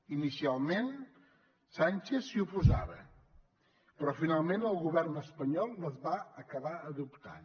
inicialment sánchez s’hi oposava però finalment el govern espanyol les va acabar adoptant